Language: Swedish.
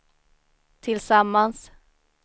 tillsammans